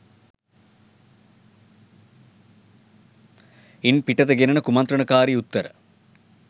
ඉන් පිටත ගෙනෙන කුමන්ත්‍රණකාරී උත්තර